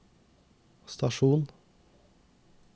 stasjon